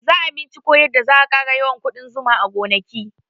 Za a binciko yadda za a ƙara yawan ƙudan zuma a gonaki